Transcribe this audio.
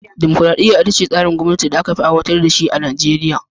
Dimokuradiyya ita ce tsarin gwamnati da aka fi aiwatar da shi a duniya.